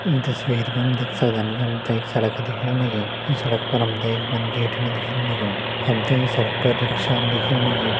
ईं तस्वीर पर हम दिख सक्दन की हमते एक सड़क दिखण लगीं। ईं सड़क पर हमते एक मनखी हिटणु दिखेन लग्यूं। हमते ये सड़क पर रिक्शान दिखेन लगीं।